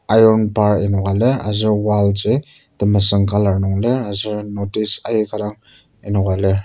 iron bar enoka lir aser wall ji temesüng colour nung lir aser notice aika dang enoka lir.